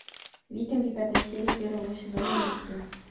викинги пятая серия первого сезона найти